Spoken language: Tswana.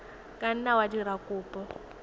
ka nna wa dira kopo